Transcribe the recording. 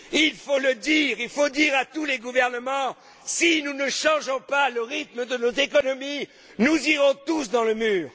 Il faut le dire, il faut dire à tous les gouvernements que si nous ne changeons pas le rythme de nos économies, nous irons tous dans le mur.